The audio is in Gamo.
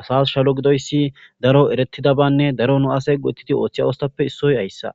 asas shalo gidida daro go'etidabanne dumma dumma asay othiza